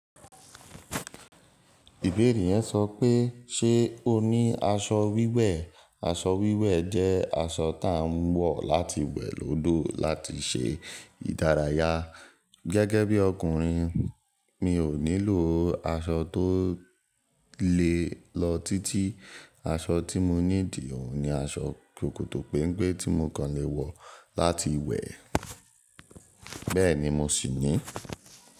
Ìbéèrè yẹn sọ pé ṣe o ní aṣọ wíwẹ̀? Aṣọ wíwẹ̀ jẹ́ aṣọ tá ń wọ̀ láti wẹ̀ lọ́dọ̀ láti ṣe ìdárayá. Gẹ́gẹ́ bí ọkùnrin mi ò nílò aṣọ tó le lọ títí. Aṣọ tí mo need òun ni aṣọ sòkòtò pẹ́ńpé tí mo kàn lè wọ̀ láti wẹ̀, bẹ́ẹ̀ ni mo sì ní.